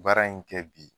Baara in kɛ bi